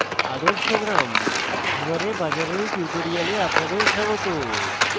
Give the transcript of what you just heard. আদর্শ গ্রাম : hiware bazar এর tutorial আপনাদের স্বাগত